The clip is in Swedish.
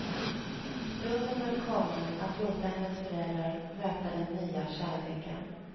Stunden är kommen att låta hennes föräldrar möta den nya kärleken.